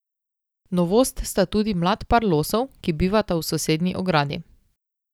Novost sta tudi mlad par losov, ki bivata v sosednji ogradi.